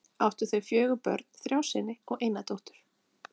Áttu þau fjögur börn, þrjá syni og eina dóttur.